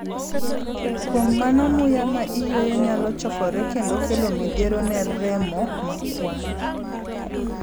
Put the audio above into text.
Kuom mano muya ma iyueyo nyalo chokore kendo kelo midhiero ne remo ma kwar.